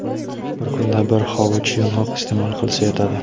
Bir kunda bir hovuch yong‘oq iste’mol qilsa yetadi.